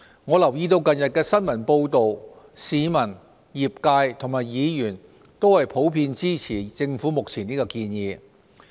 我留意到近日的新聞報道，市民、業界和議員普遍支持政府目前的建議。